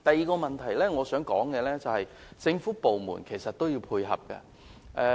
我想帶出的第二點是政府部門本身也要作出配合。